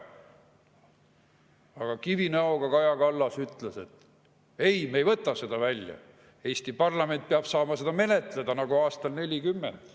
Aga kivinäoga Kaja Kallas ütles, et ei, me ei võta seda välja, Eesti parlament peab saama seda menetleda nagu aastal nelikümmend.